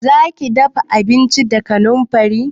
Zaki dafa abinci da kanamfari?